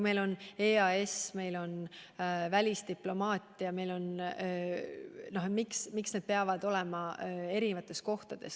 Meil on näiteks EAS ja välisdiplomaatia – miks need peavad olema eri kohtades?